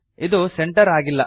ಇದು ಸೆಂಟರ್ ಆಗಿಲ್ಲ